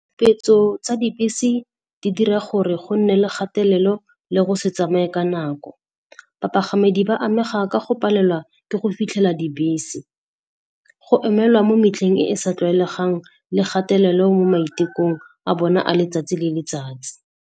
tsa dibese di dira gore go nne le kgatelelo le go se tsamaye ka nako. Bapagamedi ba amega ka go palelwa ke go fitlhela dibese. Go emelwa mo metlheng e e sa tlwaelegang le kgatelelo mo maitekong a bone a letsatsi le letsatsi.